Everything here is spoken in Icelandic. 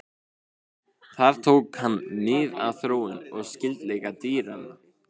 Þar tók hann mið af þróun og skyldleika dýranna.